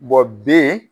b